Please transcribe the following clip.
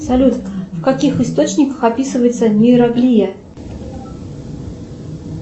салют в каких источниках описывается нейроглия